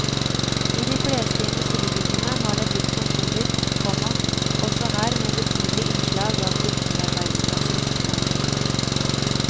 I de fleste industribyggene har det blitt kontorer, komma også her med betydelige innslag av kulturarbeidsplasser. punktum